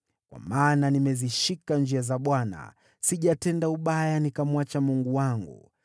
Kwa maana nimezishika njia za Bwana ; sijatenda ubaya nikamwacha Mungu wangu.